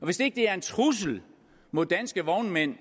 og hvis ikke det er en trussel mod danske vognmænd